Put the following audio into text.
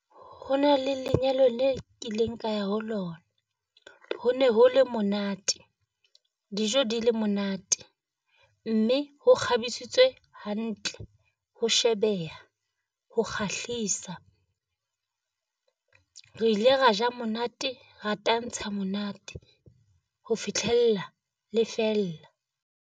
Ho na le lenyalo le kileng ka ya ho lona, ho na ho le monate dijo di le monate, mme ho kgabisitswe hantle ho shebeha ho kgahlisa. Re ile ra ja monate ra tantsha monate ho fitlhella le fella.